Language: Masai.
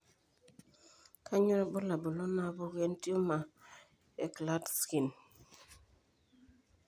Kainyio irbulabul onaapuku entiumor eKlatskin?